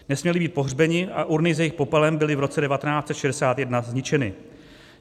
Nesměli být pohřbeni a urny s jejich popelem byly v roce 1961 zničeny.